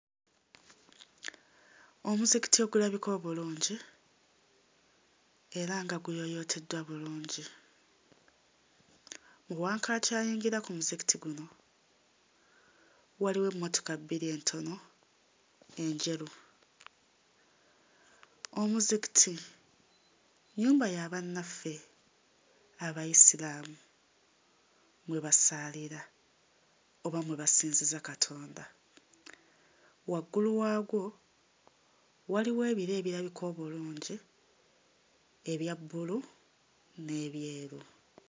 Omuzikiti ogulabika obulungi era nga guyooyooteddwa bulungi. Wankaaki ayingira ku muzikiti guno waliwo emmotoka bbiri entono enjeru. Omuzikiti nnyumba ya bannaffe Abayisiraamu mwe basaalira oba mwe basinziza Katonda. Waggulu waagwo waliwo ebire ebirabika obulungi ebya bbulu n'ebyeru.